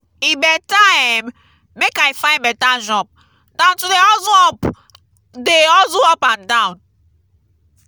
e beta um make i find beta job dan to dey hustle up dey hustle up and down.